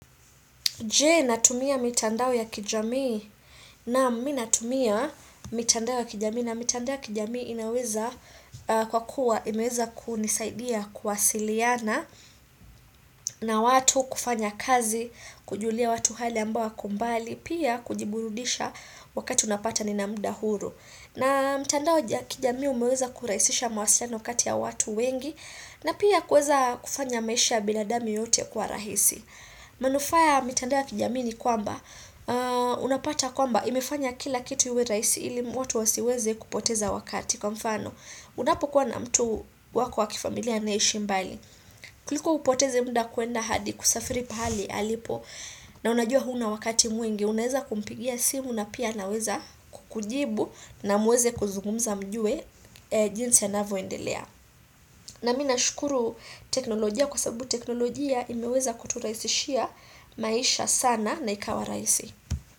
Jee natumia mitandao ya kijamii, hh naam mi mitandao ya kijami na mitandao ya kijamii inaweza kwa kuwa imeza kunisaidia kuwasiliana mh ch na watu kufanya kazi kujulia watu hali ambao wako mbali pia kujiburudisha wakati unapata nina mda huru. Na mitandao ya kijami umeweza kuraisisha mawasiliano kati ya watu wengi na pia kufanya maisha ya binadamu yote damu yote kuwa rahisi. Manufaa ya mitanda ya kijamini kwamba hh ahh Unapata kwamba imefanya kila kitu iwe raisi ili mutu asiweze kupoteza wakati, Kwa mfano, unapokuwa na mtu wako wakifamilia na ishi mbali kuliko upoteze mda kuenda hadi kusafiri pahali halipo hhh na unajua huna wakati mwingi, unaweza kumpigia simu na pia anaweza kukujibu na muweze kuzugumza mjue eeh jinsi anayvo endelea. Mh na mi na shukuru teknolojia kwa sababu teknolojia imeweza kuturaisishia maisha sana na ikawa raisi.